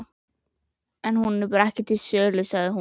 Hún er bara ekki til sölu, sagði hún.